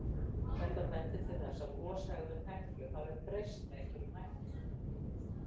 Þetta bendir til þess að goshegðun Heklu hafi breyst með einhverjum hætti.